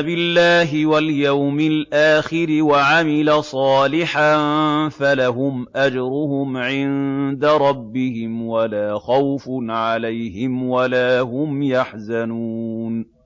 بِاللَّهِ وَالْيَوْمِ الْآخِرِ وَعَمِلَ صَالِحًا فَلَهُمْ أَجْرُهُمْ عِندَ رَبِّهِمْ وَلَا خَوْفٌ عَلَيْهِمْ وَلَا هُمْ يَحْزَنُونَ